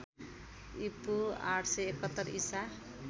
ईपू ८७१ ईसा